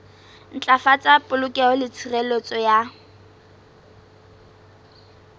ntlafatsa polokeho le tshireletso ya